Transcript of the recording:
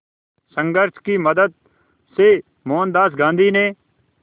संघर्ष की मदद से मोहनदास गांधी ने